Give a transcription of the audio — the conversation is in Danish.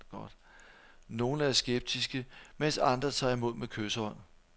Nogle er skeptiske, mens andre tager imod med kyshånd.